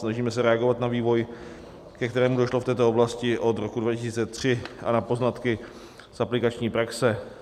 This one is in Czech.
Snažíme se reagovat na vývoj, ke kterému došlo v této oblasti od roku 2003, a na poznatky z aplikační praxe.